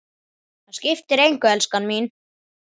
Það skiptir engu, elskan mín.